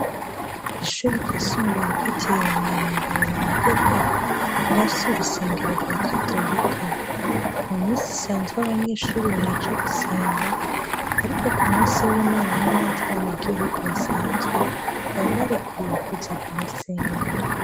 Ishuri ryisumbuye gitiye mu mweranda berenadeta rirafye urusengero rwa katolika mu misi isanzwe abanyeshuri baraca gusenga, ariko ku musi w'imana n'abandi mene gihugu basanzwe baba barekuriwe kuza guhasenga.